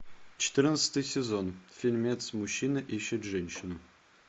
четырнадцатый сезон фильмец мужчина ищет женщину